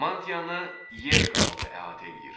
Mantianı yer qabığı əhatə eləyir.